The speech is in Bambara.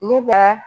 Ne bɛ